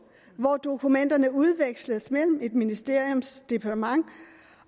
hvor dokumenterne udveksles mellem et ministeriums departement